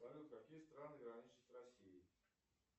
салют какие страны граничат с россией